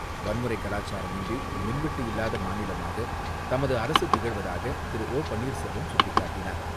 வன்முறை கலாச்சாரம் இன்றி மின்வெட்டு இல்லாத மாநிலமாக தமது அரசு திகழ்வதாக திரு ஓ பன்னீர்செல்வம் சுட்டிக்காட்டினார்.